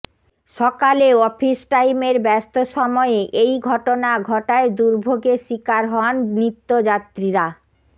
সকালে অফিস টাইমের ব্যস্ত সময়ে এই ঘটনা ঘটায় দুর্ভোগের শিকার হন নিত্যযাত্রীরা